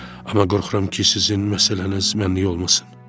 Amma qorxuram ki, sizin məsələniz mənlik olmasın.